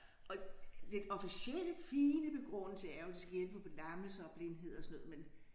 Og den officielle fine begrundelse er jo det skal hjælpe på lammelse og blindhed og sådan noget men